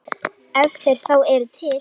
Ef þeir þá eru til.